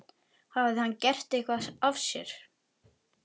Hafði hann gert eitthvað af sér?